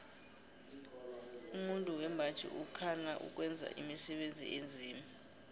umuntu wembaji ukhana ukwenza imisebenzi enzima